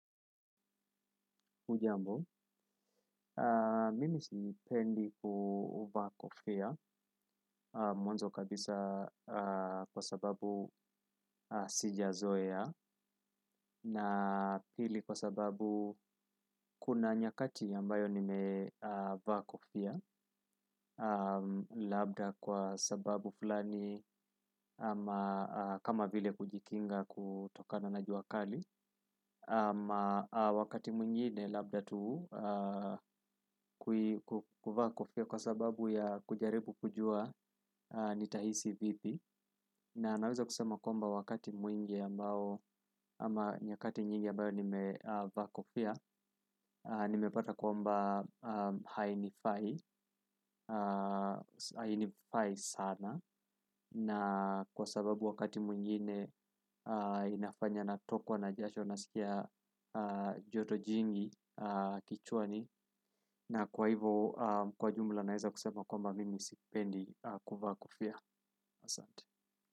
Ujambo, mimi sipendi ku vaa kofia mwanzo kabisa kwa sababu sija zoea na pili kwa sababu kuna nyakati ambayo nime vaa kofia labda kwa sababu fulani ama kama vile kujikinga kutokana na jua kali ama wakati mwingine labda tu kuvaa kofia kwa sababu ya kujaribu kujua nitahisi vipi na naweza kusema kwamba wakati mwingi ambao ama nyakati nyingi ambayo nimevaa kofia nimepata kwamba hainifai sana na kwa sababu wakati mwingine inafanya na tokwa na jasho na sikia joto jingi kichwani na kwa hivo kwa jumla naeza kusema kwamba mimi sipendi kuvaa kofia asante.